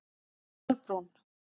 Kolbrún